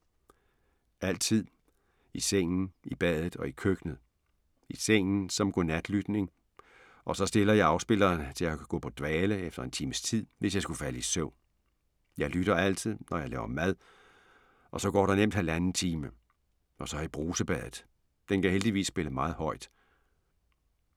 Altid. I sengen, i badet og i køkkenet. I sengen, som godnatlytning og så stiller jeg afspilleren til at gå på dvale efter en times tid, hvis jeg skulle falde i søvn. Jeg lytter altid, når jeg laver mad og så går der nemt halvanden time. Og så i brusebadet, den kan heldigvis spille meget højt.